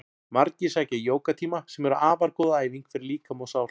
Margir sækja jógatíma sem eru afar góð æfing fyrir líkama og sál.